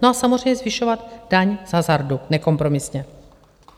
No a samozřejmě zvyšovat daň z hazardu nekompromisně.